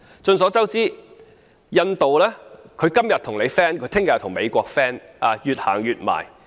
眾所周知，印度今天可以和你友好，明天卻可以和美國友好，而且越走越近。